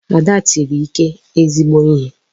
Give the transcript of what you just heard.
Ada tiri Ike ezigbo ihe.